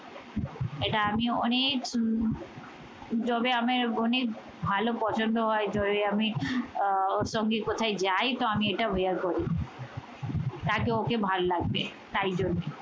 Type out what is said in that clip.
এটা আমি অনেক সুন যবে আমার অনেক ভালো পছন্দ হয় যবে আমি আহ ওর সঙ্গে কোথাই যাই তো আমি এটা bear করি। তাকে ওকে ভালো লাগবে তাই জন্যে